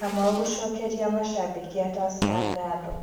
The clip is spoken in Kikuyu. Kamau gũcokeria mashambiki a Tursker ngatho